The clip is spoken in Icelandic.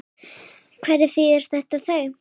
Hvaða þýðingu hafa þau?